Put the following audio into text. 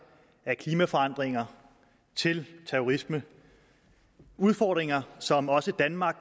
af klimaforandringer til terrorisme udfordringer som også danmark